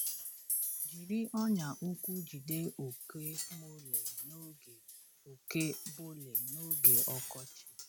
Jiri ọnyà ụkwụ jide oke mole n’oge oke mole n’oge ọkọchị.